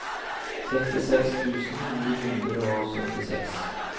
sekstiseks tusen ni hundre og syttiseks